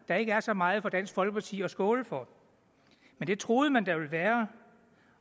der ikke er så meget for dansk folkeparti at skåle for men det troede man der ville være